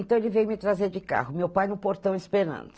Então ele veio me trazer de carro, meu pai no portão esperando.